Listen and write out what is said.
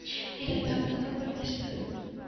или так долой папистов